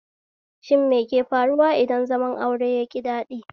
Shin meke faruwa idan zaman aure yaƙi daɗi?